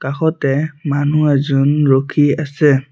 কাষতে মানুহ এজন ৰখি আছে।